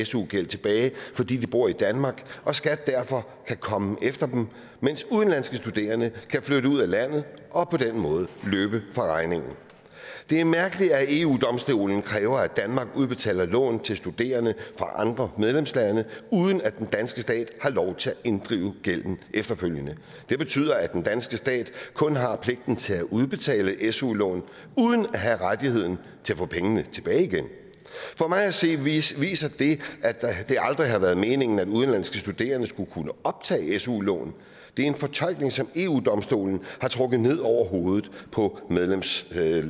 su gæld tilbage fordi de bor i danmark og skat derfor kan komme efter dem mens udenlandske studerende kan flytte ud af landet og på den måde løbe fra regningen det er mærkeligt at eu domstolen kræver at danmark udbetaler lån til studerende fra andre medlemslande uden at den danske stat har lov til at inddrive gælden efterfølgende det betyder at den danske stat kun har pligten til at udbetale su lån uden at have rettigheden til at få pengene tilbage igen for mig at se viser viser det at det aldrig har været meningen at udenlandske studerende skulle kunne optage su lån det er en fortolkning som eu domstolen har trukket ned over hovedet på medlemsstaterne